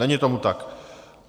Není tomu tak.